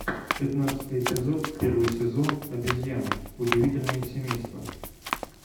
пятнадцатый эпизод первый сезон обезьяны удивительное семейство